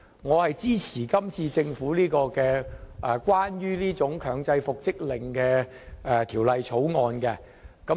我支持政府就強制復職令提出的《條例草案》。